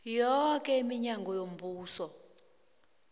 yoke iminyango yombuso